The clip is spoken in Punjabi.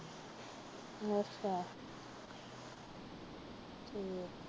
ਅੱਛਾ